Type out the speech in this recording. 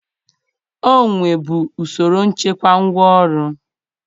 O nwebu usoro nchekwa ngwaọrụ.